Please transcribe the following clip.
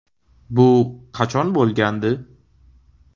Bu qachon bo‘lgandi?